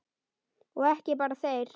Og ekki bara þeir.